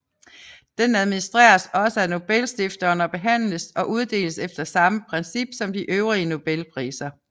Den administreres også af Nobelstiftelsen og behandles og uddeles efter samme principper som de øvrige Nobelpriser